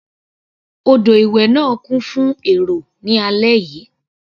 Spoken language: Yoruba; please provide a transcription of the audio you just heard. Odò ìwẹ̀ náà kún fún èrò ní alẹ́ yìí.